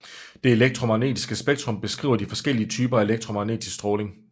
Det elektromagnetiske spektrum beskriver de forskellige typer af elektromagnetisk stråling